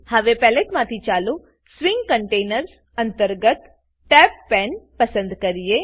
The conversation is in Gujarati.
હવે પેલેટમાંથી ચાલો સ્વિંગ કન્ટેનર્સ અંતર્ગત તબ્બેદપણે પસંદ કરીએ